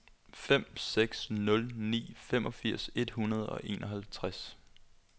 fem seks nul ni femogfirs et hundrede og enoghalvtreds